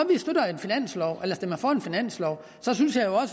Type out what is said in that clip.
man stemmer for en finanslov synes jeg